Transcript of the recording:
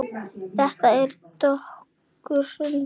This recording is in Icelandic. Þetta er dökkur sandur.